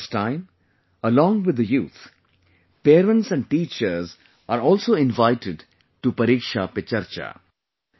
This time, along with the youth, parents and teachers are also invited to 'Pariksha Pe Charcha'